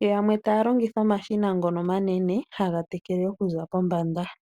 yo yamwe taya longitha omashina ngono omanene haga tekele okuza pombanda.